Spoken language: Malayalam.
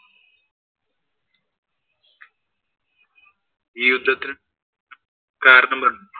ഈ യുദ്ധത്തില്‍